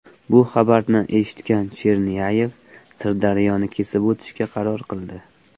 Bu xabarni eshitgan Chernyayev Sirdaryoni kesib o‘tishga qaror qildi.